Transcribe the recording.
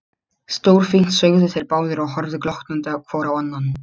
Stórfínt sögðu þeir báðir og horfðu glottandi hvor á annan.